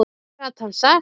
Hvað gat hann sagt?